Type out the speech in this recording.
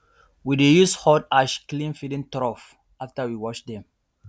we dey use hot ash clean feeding trough after we wash dem